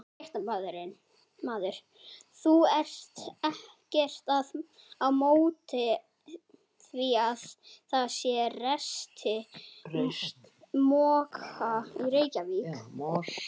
Fréttamaður: Þú ert ekkert á móti því að það sé reist moska í Reykjavík?